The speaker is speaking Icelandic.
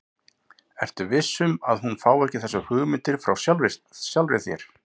Ertu viss um, að hún fái ekki þessar hugmyndir frá sjálfri þér?